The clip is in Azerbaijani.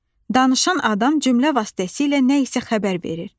Danışan adam cümlə vasitəsilə nə isə xəbər verir.